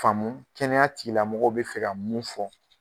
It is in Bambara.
Faamu kɛnɛya tigilamɔgɔw bɛ fɛ ka mun fɔ.